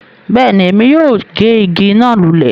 Bẹ́ẹ̀ni, èmi yóò gé ìgi náà lulẹ̀